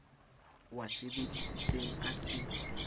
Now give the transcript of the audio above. o a sebesisitseng a se